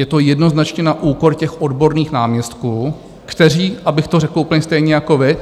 Je to jednoznačně na úkor těch odborných náměstků, kteří, abych to řekl úplně stejně jako vy,